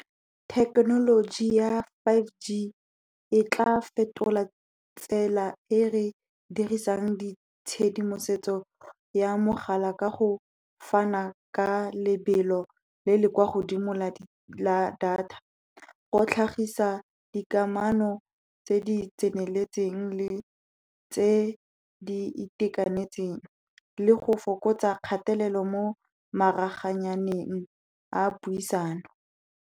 Thekenoloji ya Five G e tla fetola tsela e re dirisang ditshedimosetso ya mogala ka go fana ka lebelo le le kwa godimo la data, go tlhagisa dikamano tse di tseneletseng le tse di itekanetseng, le go fokotsa kgatelelo mo maraganyaneng a puisano.